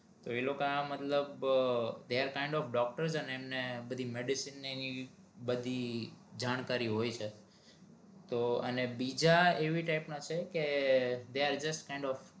ઈ લોકા મતલબ they are kind of doctor એમને બધી જણ્કારી હોય છે તો અને બિજા એવી type ના છે કે they are just kind of